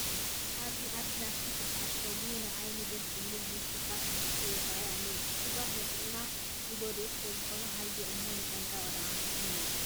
ኣብዚ ኣብ ፕላስቲክ ዝተዓሸጉ ንዓይኒ ደስ ዝብሉ ልስሉሳት መስተታት ይርአዩ ኣለዉ፡፡ ዕሹጋት ንጥዕናና ዝጐድኡ ስለዝኾኑ ሃየ እሞ ጥንቅቕ ደአ ንበል፡፡